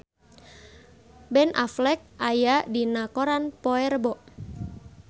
Ben Affleck aya dina koran poe Rebo